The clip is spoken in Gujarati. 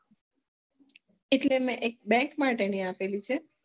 એટલે મેં એક bank માટેની આપેલી હે